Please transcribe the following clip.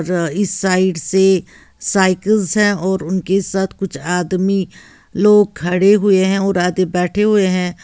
इस साइड से साइकल्स है और उनके साथ कुछ आदमी लोग खड़े हुए हैं और आधे बैठे हुए हैं।